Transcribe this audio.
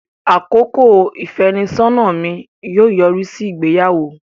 Àkókò ìfẹ́nisọ́nà mi yóò yọrí sí ìgbéyàwó.